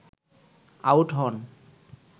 out হন